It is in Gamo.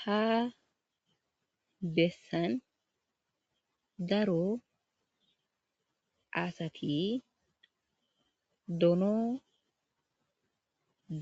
Haa bessani Daro asati dono